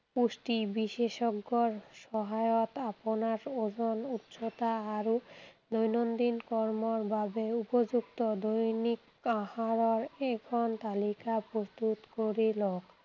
পুষ্টি বিশেষজ্ঞৰ সহায়ত আপোনাৰ ওজন, উচ্চতা আৰু দৈনন্দিন কৰ্মৰ বাবে উপযুক্ত দৈনিক আহাৰৰ এখন তালিকা প্ৰস্তুত কৰি লওক।